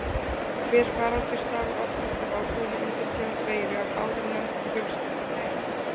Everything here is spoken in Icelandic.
Hver faraldur stafar oftast af ákveðinni undirtegund veiru af áðurnefndum fjölskyldum veira.